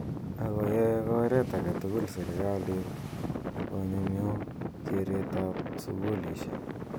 Ako yae koret ake tugul sirikalit konyumyum keret ab sukulishek.